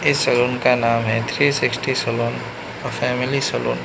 इस सैलून का नाम है three sixty salon a family salon --